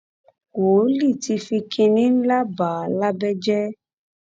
wòólì ti fi kínní ńlá bà á lábẹ́ jẹ́